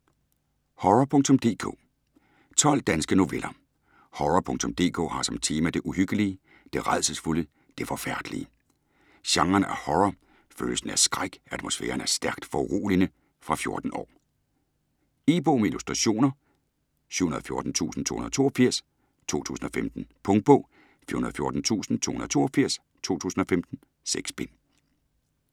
Horror.dk 12 danske noveller. Horror.dk har som tema det uhyggelige, det rædselsfulde, det forfærdelige. Genren er horror, følelsen er skræk, atmosfæren er stærkt foruroligende. Fra 14 år. E-bog med illustrationer 714282 2015. Punktbog 414282 2015. 6 bind.